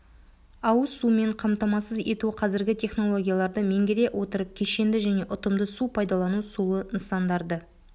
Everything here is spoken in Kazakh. ауыз сумен қамтамасыз ету қазіргі технологияларды меңгере отырып кешенді және ұтымды су пайдалану сулы нысандарды